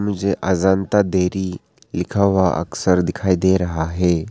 मुझे अजंता डेयरी लिखा हुआ अक्षर दिखाई दे रहा है।